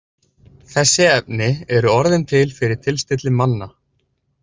Þessi efni eru orðin til fyrir tilstilli manna.